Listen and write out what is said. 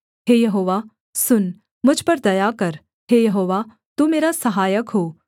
हे यहोवा सुन मुझ पर दया कर हे यहोवा तू मेरा सहायक हो